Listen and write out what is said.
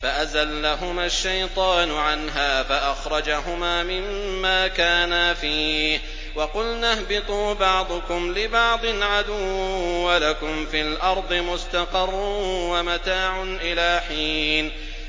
فَأَزَلَّهُمَا الشَّيْطَانُ عَنْهَا فَأَخْرَجَهُمَا مِمَّا كَانَا فِيهِ ۖ وَقُلْنَا اهْبِطُوا بَعْضُكُمْ لِبَعْضٍ عَدُوٌّ ۖ وَلَكُمْ فِي الْأَرْضِ مُسْتَقَرٌّ وَمَتَاعٌ إِلَىٰ حِينٍ